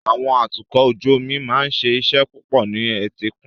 Àwọn atukọ̀ ojú omi máa ń ṣe iṣẹ́ púpọ̀ ní etíkun.